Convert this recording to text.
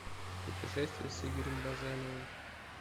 путешествия с игорем баженовым